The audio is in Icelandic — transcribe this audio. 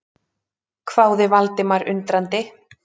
hváði Valdimar undrandi.